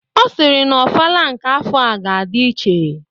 Ọ sịrị na ofala nke afọa ga-adi iche,